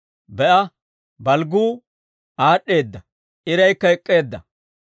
Be'a, balgguu aad'd'eeda; iraykka ek'k'eedda.